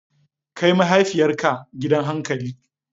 Kai mahaifiyarka gidan hankali!